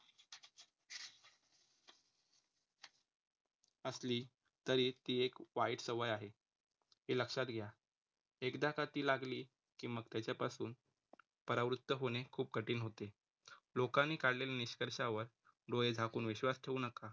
असली तरी, ती एक वाईट सवय आहे. हे लक्षात घ्या. एकदा का ती लागली, की मग त्याच्यापासून परावृत्त होणे खूप कठीण होते लोकांनी काढलेले निष्कर्षावर डोळे झाकून विश्वास ठेवू नका.